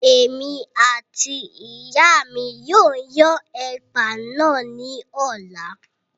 Èmi àti ìyáa mi yóò yan ẹ̀pà náà ní ọ̀la